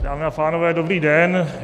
Dámy a pánové, dobrý den.